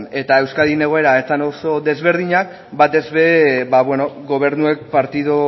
eta euskadin egoera ez zen oso desberdina batez ere gobernuek partidu